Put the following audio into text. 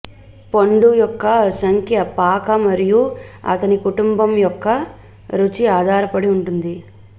పండు యొక్క సంఖ్య పాక మరియు అతని కుటుంబం యొక్క రుచి ఆధారపడి ఉంటుంది